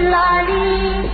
الْعَلِيمِ